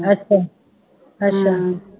ਅੱਛਾ ਅੱਛਾ